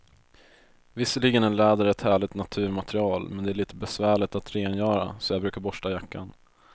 Visserligen är läder ett härligt naturmaterial, men det är lite besvärligt att rengöra, så jag brukar borsta jackan.